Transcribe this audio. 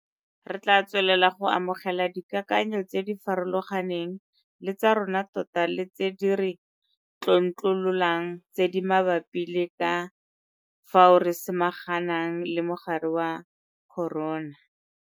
Re tla tswelela go amogela dikakanyo tse di farologaneng le tsa rona tota le tse di re tlontlololang tse di mabapi le ka fao re samaganang le mogare wa corona.